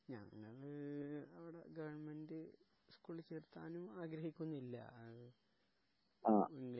ആ ഞങ്ങള് ഒരു ഗവൺമെന്റ് ചേർത്താനും ആഗ്രഹിക്കുന്നില്ല ഇംഗ്ലീഷ് മീഡിയത്തി